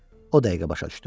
O dəqiqə başa düşdü.